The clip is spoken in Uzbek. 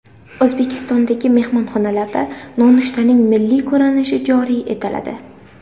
O‘zbekistondagi mehmonxonalarda nonushtaning milliy ko‘rinishi joriy etiladi.